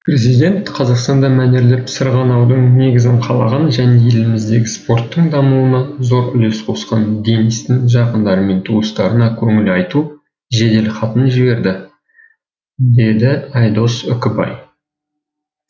президент қазақстанда мәнерлеп сырғанаудың негізін қалаған және еліміздегі спорттың дамуына зор үлес қосқан денистің жақындары мен туыстарына көңіл айту жеделхатын жіберді деді айдос үкібай